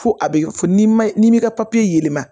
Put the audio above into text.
Fo a be fɔ ni ma n'i m'i ka papiye ma